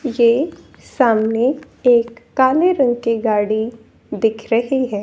ये सामने एक काले रंग की गाड़ी दिख रही है।